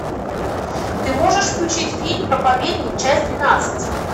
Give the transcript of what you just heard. ты можешь включить фильм проповедник часть двенадцать